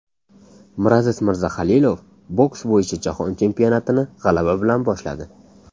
Miraziz Mirzahalilov boks bo‘yicha Jahon chempionatini g‘alaba bilan boshladi.